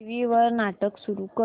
TV वर नाटक सुरू कर